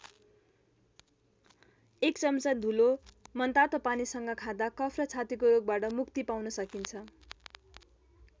एक चम्चा धुलो मनतातो पानीसँग खाँदा कफ र छातीको रोगबाट मुक्ति पाउन सकिन्छ।